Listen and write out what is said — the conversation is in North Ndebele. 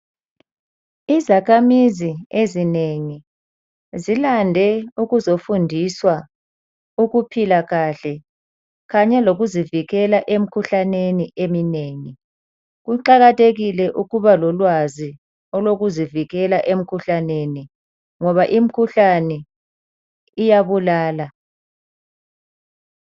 Izakhamizi ezinengi zilande ukuzofundiswa ukuphila kahle kanye lokuzivikela emikhuhlaneni eminengi. Kuqakathekile ukuba lolwazi olokuzivikela emkhuhlaneni ngoba imkhuhlane iyabulala.